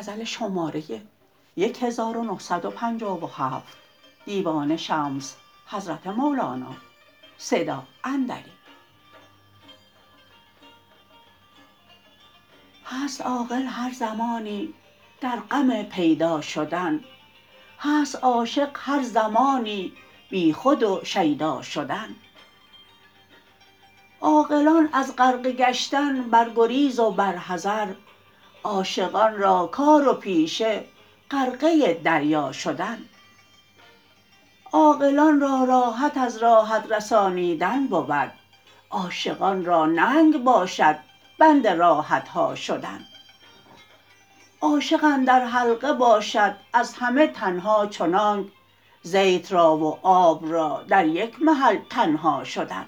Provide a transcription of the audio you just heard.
هست عاقل هر زمانی در غم پیدا شدن هست عاشق هر زمانی بیخود و شیدا شدن عاقلان از غرقه گشتن بر گریز و بر حذر عاشقان را کار و پیشه غرقه دریا شدن عاقلان را راحت از راحت رسانیدن بود عاشقان را ننگ باشد بند راحت ها شدن عاشق اندر حلقه باشد از همه تن ها چنانک زیت را و آب را در یک محل تنها شدن